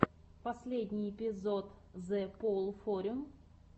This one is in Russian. последний эпизод зэпоулфорю